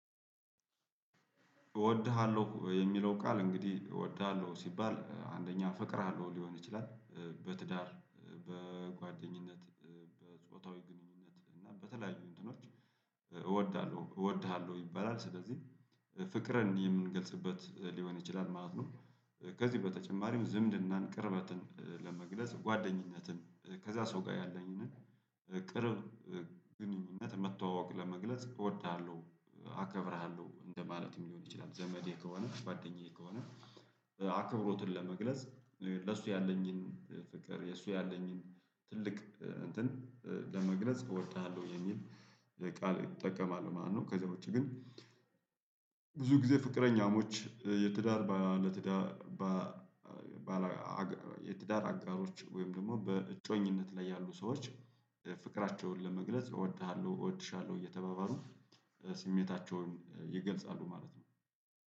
እወድሃለሁ የሚለው ቃል እንግዲህ እወድሃለሁ ሲባል አንደኛ አፈቅርሃለውለው ሊሆን ይችላል በትዳር በጓደኝነት በጾታዊ ግንኙነት እና በተለያዩ እንትኖች እወዳለሁ እወድሃለሁ ይበላል ስለዚህ ፍቅር እንዲህ የምንገልጽበት ሊሆን ይችላል ማለት ነው። ከዚህ በተጨማሪም ዝምድናን ቅርበትን ለመግለጽ ጓደኝነትን ከዛ ሰው ጋር ያለኝን ቅርብ ግንኙነት መተዋወቅ ለመግለጽ እወድሃለሁ አከብርሃለሁ እንደማለትም ሊሆን ይችላል። ዘመዴ ከሆነ ጓደኛዬ ከሆነ አክብሮትን ለመግለጽ ለሱ ያለኝን ፍቅር የሱ ያለኝን ትልቅ እንትን ለመግለጽ እወድሃለሁ የሚል ቃል እጠቀማለሁ ማለት ነው። ከዛ ውጪ ግን ብዙ ጊዜ ፍቅረኛሞች የትዳር ለትዳር ትዳር ባለ የትዳር አጋሮች ወይም ደግሞ በእጮኝነት ላይ ያሉ ሰዎች ፍቅራቸውን ለመግለጽ እወድሃለሁ እወድሻለሁ እየተባበሩ ስሜታቸውን ይገልጻሉ። ማለት ነው